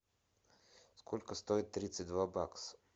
сколько стоит тридцать два бакса